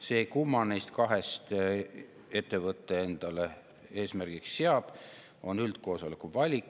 See, kumma neist kahest ettevõte endale eesmärgiks seab, on üldkoosoleku valik.